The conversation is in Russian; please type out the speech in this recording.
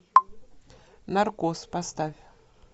наркоз поставь